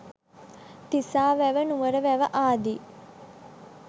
තිසා වැව නුවර වැව ආදී